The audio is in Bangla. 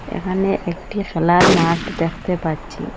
এখানে একটি খেলার মাঠ দেখতে পাচ্ছি।